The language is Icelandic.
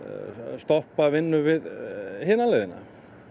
stoppa vinnu við hina leiðina